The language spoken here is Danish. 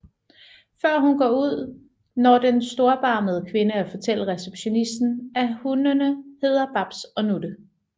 Før hun går ud når den storbarmede kvinde at fortælle receptionisten at hundene hedder Babs og Nutte